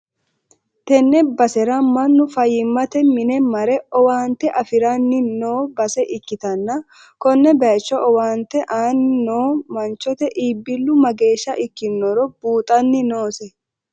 tenne basera mannu fayyimmate mine mare owaante afi'ranni no base ikkitanna, konne bayicho owaante aanni noohu manchote iibbillu mageeshsha ikkinoro buuxanni noose.